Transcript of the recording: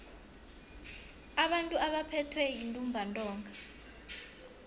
abantu abaphethwe yintumbantonga